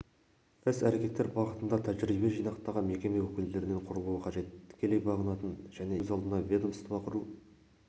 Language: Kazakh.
іс-әрекеттер бағытында тәжірибе жинақтаған мекеме өкілдерінен құрылуы қажет тікелей бағынатын және есеп беретін өз алдына ведомство құру